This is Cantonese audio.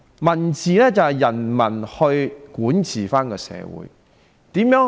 "民治"是指由人民管治社會。